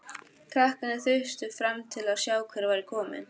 Krakkarnir þustu fram til að sjá hver væri kominn.